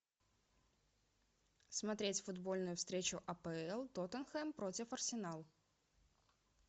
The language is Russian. смотреть футбольную встречу апл тоттенхэм против арсенал